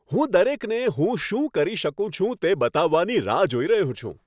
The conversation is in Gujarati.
હું દરેકને હું શું કરી શકું છું તે બતાવવાની રાહ જોઈ રહ્યો છું.